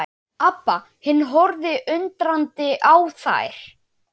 Abba hin horfði undrandi á þær.